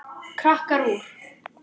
Krakkar úr